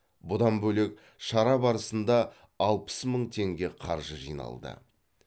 бұдан бөлек шара барысында алпыс мың теңге қаржы жиналды